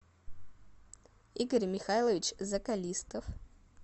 игорь михайлович закалистов